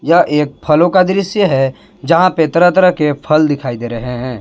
यह एक फलों का दृश्य है जहां पे तरह तरह के फल दिखाई दे रहे हैं।